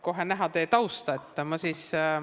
Kohe on näha teie tausta.